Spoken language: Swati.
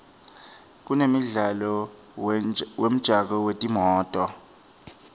kunemidlalo wemjako wetimoto